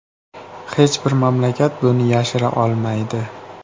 Hech bir mamlakat buni yashira olmaydi.